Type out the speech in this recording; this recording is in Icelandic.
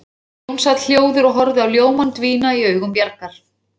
Jón sat hljóður og horfði á ljómann dvína í augum Bjargar.